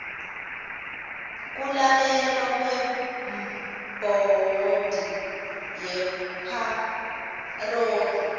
kulalelwa kwebhodi yepharoli